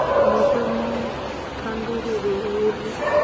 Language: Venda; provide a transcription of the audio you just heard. mu fhe thandululo hu ri